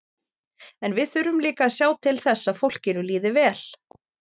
En við þurfum líka að sjá til þess að fólkinu líði vel.